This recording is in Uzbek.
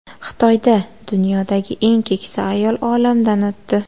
Xitoyda dunyodagi eng keksa ayol olamdan o‘tdi.